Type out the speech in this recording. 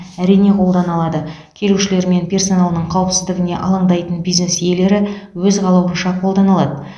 әрине қолдана алады келушілері мен персоналының қауіпсіздігіне алаңдайтын бизнес иелері өз қалауынша қолдана алады